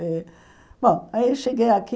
Eh bom, aí cheguei aqui,